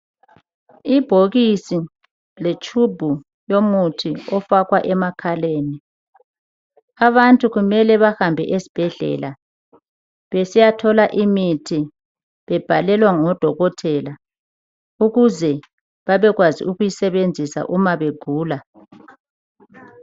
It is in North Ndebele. Ibhokisi letshubhu yomuthi ofakwa emakhaleni abantu kumele bahambe esibhedlela besiyathola imithi bebhalelwa ngodokotela ukuze babekwazi ukuyisebenzisa uma begula.